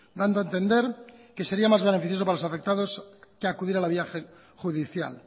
dando a entender que sería más beneficioso para los afectados que acudir a la vía judicial